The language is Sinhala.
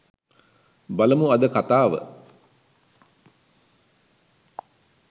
බලමු අද කතාව